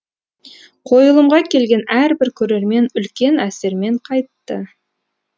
қойылымға келген әрбір көрермен үлкен әсермен қайтты